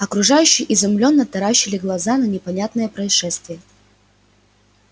окружающие изумлённо таращили глаза на непонятное происшествие